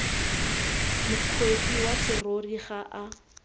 mokgweetsi wa serori ga a